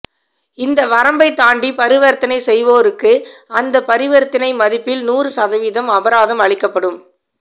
இந்த வரம்பை தாண்டி பரிவர்த்தனை செய்வோருக்கு அந்த பரிவர்த்தனை மதிப்பில் நூறு சதவிதம் அபராதம் அளிக்கப்படும்